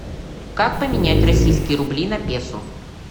как поменять российские рубли на песо